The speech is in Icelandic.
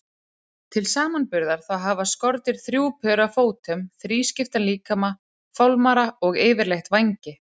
Til samanburðar þá hafa skordýr þrjú pör af fótum, þrískiptan líkama, fálmara og yfirleitt vængi.